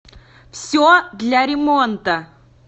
все для ремонта